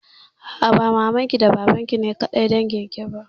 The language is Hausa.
A'a, ba maman ki da baban ki ne kaɗai dangin ki.